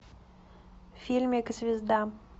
фильмик звезда